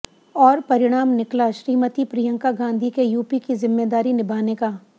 और परिणाम निकला श्रीमती प्रियंका गांधी के यूपी की जिम्मेदारी निभाने का